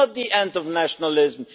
It is not the end of nationalism.